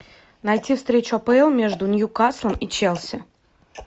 найти встречу апл между ньюкаслом и челси